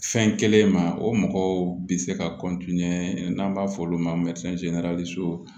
Fɛn kelen ma o mɔgɔw bi se ka n'an b'a fɔ olu ma